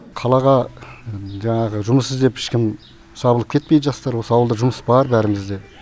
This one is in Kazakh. қалаға жаңағы жұмыс іздеп ешкім сабылып кетпейді жастар болса ауылда жұмыс бар бәрімізде